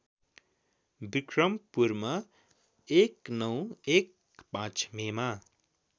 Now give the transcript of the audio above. विक्रमपुरमा १९१५ मेमा